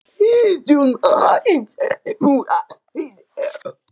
Hann er kjaftfor svo við kefluðum hann.